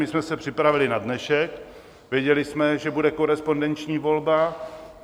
My jsme se připravili na dnešek, věděli jsme, že bude korespondenční volba.